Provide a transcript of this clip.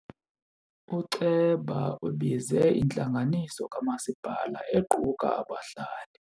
Uceba ubize intlanganiso kamasipala equka abahlali.